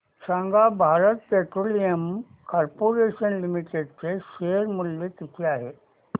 सांगा Bharat Petroleum Corporation Limited चे share मूल्य किती आहे